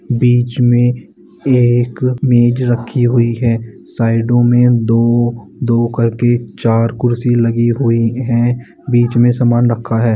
बीच में एक मेज रखी हुई है साइडों में दो-दो कर के चार कुर्सी लगी हुई है बीच में समान रखा है।